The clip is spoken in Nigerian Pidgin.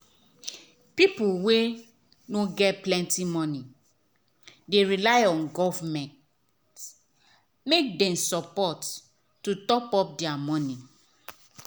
people wey no get plenty money dey rely on government make dem support to top up their money.